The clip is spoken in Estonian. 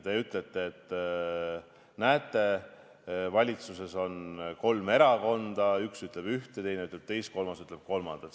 Te ütlete, et näete, valitsuses on kolm erakonda, üks ütleb ühte, teine ütleb teist, kolmas ütleb kolmandat.